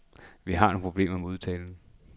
Derfor har vi nogle problemer med udtalen.